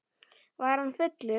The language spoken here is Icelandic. Var hann fullur?